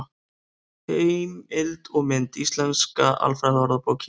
Heimild og mynd: Íslenska alfræðiorðabókin.